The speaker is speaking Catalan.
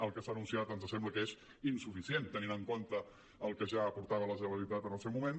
el que s’ha anunciat ens sembla que és insuficient tenint en compte el que ja aportava la generalitat en el seu moment